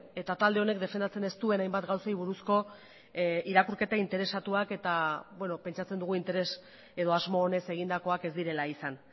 eta talde honek defendatzen ez duen hainbat gauzei buruzko irakurketa interesatuak eta pentsatzen dugu interes edo asmo honez egindakoak ez direla izan